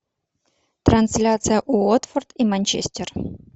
трансляция уотфорд и манчестер